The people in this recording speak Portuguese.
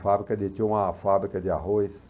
Fabrica de, tinha uma fábrica de arroz.